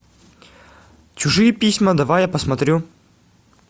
чужие письма давай я посмотрю